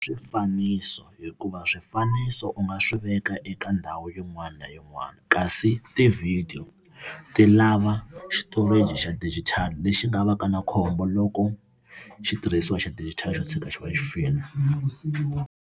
Swifaniso hikuva swifaniso u nga swi veka eka ndhawu yin'wana na yin'wana kasi tivhidiyo ti lava storage xa digital lexi nga va ka na khombo loko xitirhisiwa xa digital xo tshika xi va xi file .